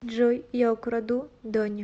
джой я украду дони